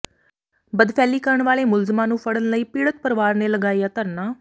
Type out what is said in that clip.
ਬਦਫੈਲੀ ਕਰਨ ਵਾਲੇ ਮੁਲਜ਼ਮਾਂ ਨੂੰ ਫੜਨ ਲਈ ਪੀੜਤ ਪਰਿਵਾਰ ਨੇ ਲਗਾਇਆ ਧਰਨਾ